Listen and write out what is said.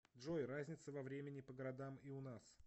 джой разница во времени по городам и у нас